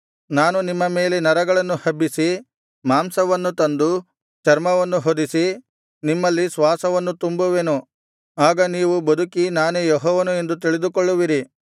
ನಾನು ನಿಮ್ಮ ಮೇಲೆ ನರಗಳನ್ನು ಹಬ್ಬಿಸಿ ಮಾಂಸವನ್ನು ತಂದು ಚರ್ಮವನ್ನು ಹೊದಿಸಿ ನಿಮ್ಮಲ್ಲಿ ಶ್ವಾಸವನ್ನು ತುಂಬುವೆನು ಆಗ ನೀವು ಬದುಕಿ ನಾನೇ ಯೆಹೋವನು ಎಂದು ತಿಳಿದುಕೊಳ್ಳುವಿರಿ